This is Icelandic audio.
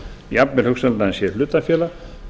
jafnvel hugsanlegt að hann sé hlutafélag